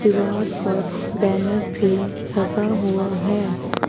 दीवार पर बैनर भी लगा हुआ हैं।